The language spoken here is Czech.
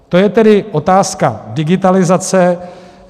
To je tedy otázka digitalizace.